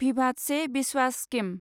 भिभाद से भिस्वास स्किम